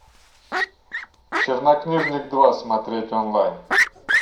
чернокнижник два смотреть онлайн